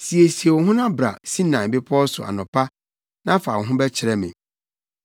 Siesie wo ho na bra Sinai Bepɔw so anɔpa na fa wo ho bɛkyerɛ me.